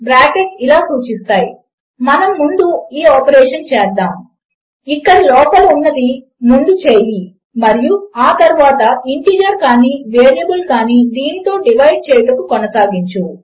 బ్రాకెట్లు ఇలా సూచిస్తాయి మనము ముందు ఈ ఆపరేషన్ చేద్దాము ఇక్కడ లోపల ఉన్నది ముందు చేయి మరియు ఆ తరువాత ఇంటీజర్ కాని వేరియబుల్ కాని దీనితో డివైడ్ చేయుట కొనసాగించు